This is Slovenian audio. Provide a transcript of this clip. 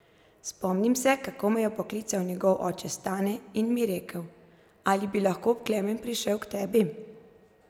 Spomnim se, kako me je poklical njegov oče Stane in mi rekel: 'Ali bi lahko Klemen prišel k tebi?